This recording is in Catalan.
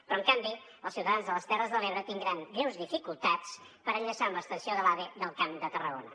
però en canvi els ciutadans de les terres de l’ebre tindran greus dificultats per enllaçar amb l’estació de l’ave del camp de tarragona